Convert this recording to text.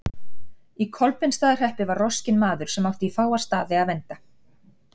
Í Kolbeinsstaðahreppi var roskinn maður sem átti í fáa staði að venda.